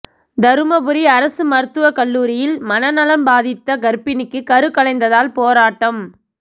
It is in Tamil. தருமபுரி அரசு மருத்துவக் கல்லூரியில் மனநலன் பாதித்த கா்பிணிக்கு கருக்கலைந்ததால் போராட்டம்